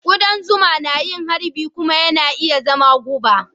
Kudan zuma na yin harbi kuma yana iya zama guba.